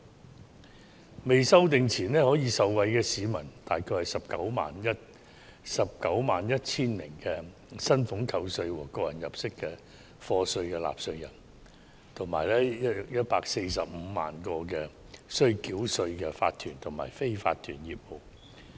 《條例草案》尚未修正前，可以受惠的大約為191萬名須繳交薪俸稅和個人入息課稅的納稅人，以及 145,000 個須繳稅的法團和非法團業務。